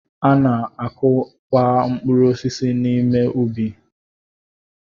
A na-akụ kwa mkpụrụ osisi n'ime ubi.